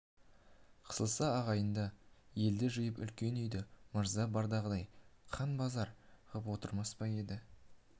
қысылса ағайынды елді жиып үлкен үйді мырза бардағыдай қан базар ғып отырмас па еді